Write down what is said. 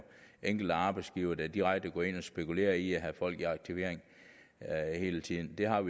enkelte arbejdsgivere der direkte går ind og spekulere i at have folk i aktivering hele tiden vi har